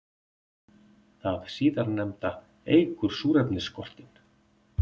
Það síðarnefnda eykur súrefnisskortinn.